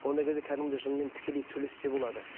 ондай кезде кәдімгідей жынмен тікелей сөйлессе болады